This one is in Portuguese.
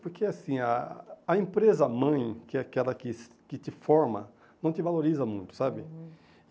Porque, assim, a a empresa mãe, que é aquela que que te forma, não te valoriza muito, sabe? Uhum